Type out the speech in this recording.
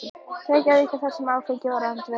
Reykjavíkur þar sem áfengi var í öndvegi.